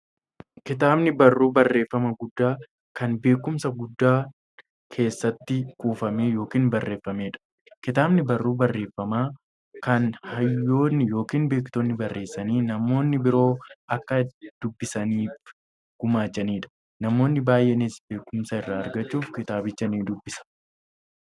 Kitaabni barruu barreeffamaa guddaa, kan beekumsi guddaan keessatti kuufame yookiin barreefameedha. Kitaabni barruu barreeffamaa, kan hayyoonni yookiin beektonni barreessanii, namni biroo akka dubbisaniif gumaachaniidha. Namoonni baay'eenis beekumsa irraa argachuuf kitaabicha ni dubbisu.